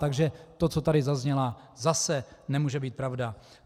Takže to, co tady zaznělo, zase nemůže být pravda.